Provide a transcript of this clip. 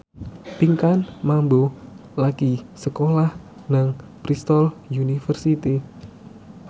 Pinkan Mambo lagi sekolah nang Bristol university